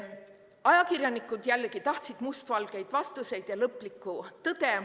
Ajakirjanikud jällegi tahtsid mustvalgeid vastuseid ja lõplikku tõde.